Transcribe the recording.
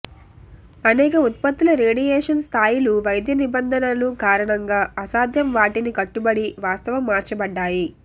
అనేక ఉత్పత్తుల రేడియేషన్ స్థాయిలు వైద్య నిబంధనలను కారణంగా అసాధ్యం వాటిని కట్టుబడి వాస్తవం మార్చబడ్డాయి